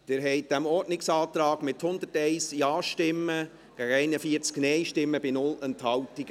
Sie haben diesem Ordnungsantrag zugestimmt, mit 101 Ja- gegen 41 Nein-Stimmen bei 0 Enthaltungen.